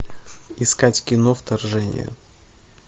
искать кино вторжение